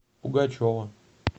пугачева